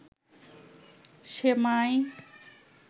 সেমাই